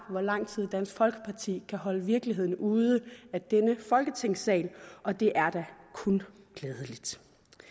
hvor lang tid dansk folkeparti kan holde virkeligheden ude af denne folketingssal og det er da kun glædeligt